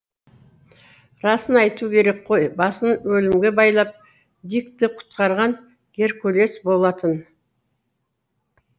расын айту керек қой басын өлімге байлап дикті құтқарған геркулес болатын